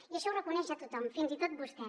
i això ho reconeix ja tothom fins i tot vostè